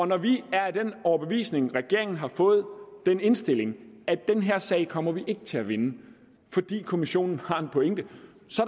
når vi er af den overbevisning når regeringen har fået den indstilling at den her sag kommer vi ikke til at vinde fordi kommissionen har en pointe